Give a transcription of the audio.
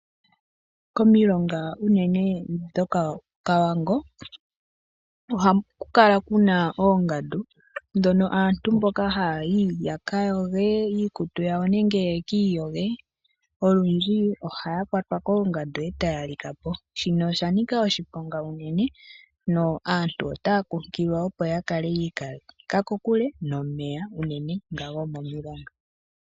Komilonga unene ndhoka dhoko Kavango ohaku kala kuna oongandu, ndhono aantu mbono haya yi ya kayoge nenge ya kayoge iikutu yawo olundji ohaya kwatwa koongandu etaya likapo. Shino osha nika oshiponga onkene aantu otaya kunkililwa opo yi ikaleke kokule nomeya unene tuu gomomilonga.